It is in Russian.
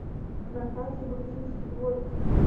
на карте грузинский дворик